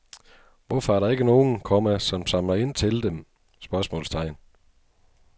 Hvorfor er der ikke nogen, komma som samler ind til dem? spørgsmålstegn